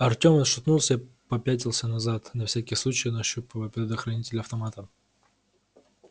артем отшатнулся и попятился назад на всякий случай нащупывая предохранитель автомата